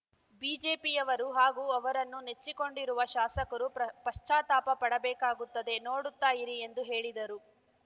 ಬಿಜೆಪಿಯವರು ಹಾಗೂ ಅವರನ್ನು ನೆಚ್ಚಿಕೊಂಡಿರುವ ಶಾಸಕರೂ ಪ್ರ ಪಶ್ಚಾತ್ತಾಪ ಪಡಬೇಕಾಗುತ್ತದೆ ನೋಡುತ್ತಾ ಇರಿ ಎಂದು ಹೇಳಿದರು